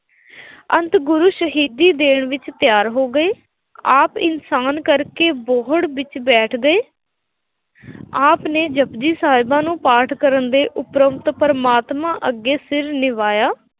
ਅੰਤ ਗੁਰੂ ਸ਼ਹੀਦੀ ਦੇਣ ਵਿੱਚ ਤਿਆਰ ਹੋ ਗਏ, ਆਪ ਇਨਸਾਨ ਕਰਕੇ ਬੋਹੜ ਵਿੱਚ ਬੈਠ ਗਏ, ਆਪ ਨੇ ਜਪੁਜੀ ਸਾਹਿਬ ਨੂੰ ਪਾਠ ਕਰਨ ਦੇ ਉਪਰੰਤ ਪ੍ਰਮਾਤਮਾ ਅੱਗੇ ਸਿਰ ਨਿਵਾਇਆ,